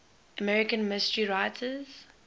american mystery writers